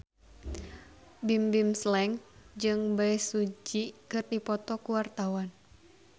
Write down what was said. Bimbim Slank jeung Bae Su Ji keur dipoto ku wartawan